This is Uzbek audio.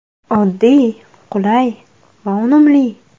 Oddiy, qulay va unumli!